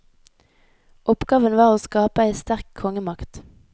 Oppgaven var å skape ei sterk kongemakt.